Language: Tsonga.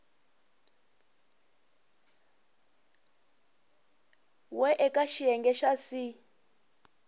we eka xiyenge xa c